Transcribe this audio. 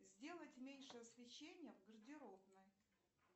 сделать меньше освещение в гардеробной